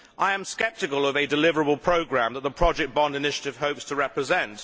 I am sceptical about a deliverable programme that the project bond initiative hopes to represent.